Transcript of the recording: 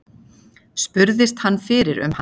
Spurðist hann fyrir um hann.